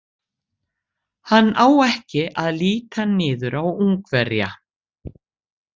Hann á ekki að líta niður á Ungverja.